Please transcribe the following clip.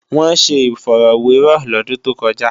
Wọ́n ṣe ifọ̀rọ́wẹrọ̀ lọ́dún tó kọjá